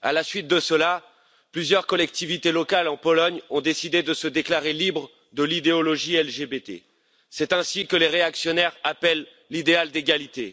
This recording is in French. À la suite de cela, plusieurs collectivités locales en Pologne ont décidé de se déclarer libres de l'idéologie LGBTI c'est ainsi que les réactionnaires appellent l'idéal d'égalité.